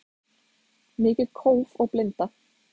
Mikið kóf og blinda